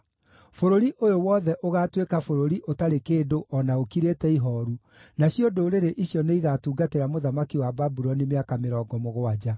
Bũrũri ũyũ wothe ũgaatuĩka bũrũri ũtarĩ kĩndũ o na ũkirĩte ihooru, nacio ndũrĩrĩ icio nĩigatungatĩra mũthamaki wa Babuloni mĩaka mĩrongo mũgwanja.